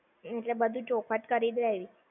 એટલે બધું ચોખવટ કરી જ લેવી!